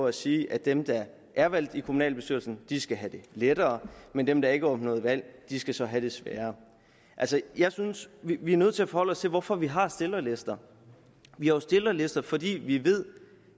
at sige at dem der er valgt ind i kommunalbestyrelsen skal have det lettere men dem der ikke opnåede valg skal så have det sværere jeg synes vi er nødt til at forholde os til hvorfor vi har stillerlister vi har jo stillerlister fordi vi ved